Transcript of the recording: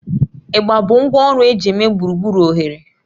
Igba bụ ngwá ọrụ eji eme gburugburu oghere